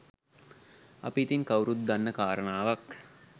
අපි ඉතින් කවුරුත් දන්න කාරණාවක්